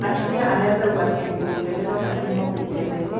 Atumia arĩa me ũgwatinĩ mũnene no mathimo gwĩ tene